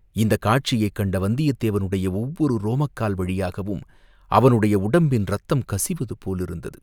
இந்தக் காட்சியைக் கண்ட வந்தியத்தேவனுடைய ஒவ்வொரு ரோமக்கால் வழியாகவும் அவனுடைய உடம்பின் ரத்தம் கசிவது போலிருந்தது.